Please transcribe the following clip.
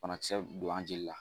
Bana kisɛ don an jolila.